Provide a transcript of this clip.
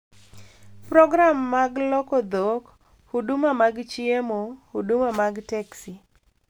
Program mag loko dhok, huduma mag chiemo, huduma mag teksi,